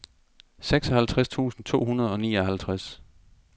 seksoghalvtreds tusind to hundrede og nioghalvtreds